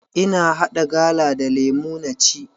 Ina haɗa gala da lemu na ci.